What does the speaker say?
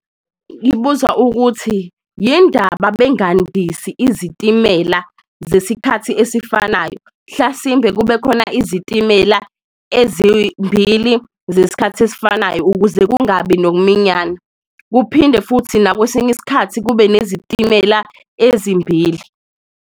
Ngibuza ukuthi yin'ndaba bengandisi izitimela zesikhathi esifanayo? Mhlasimbe kube khona izitimela ezimbili zesikhathi esifanayo ukuze kungabi nokuminyana, kuphinde futhi nakwesinye iskhathi kube nezitimela ezimbili.